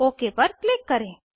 okay पर click करें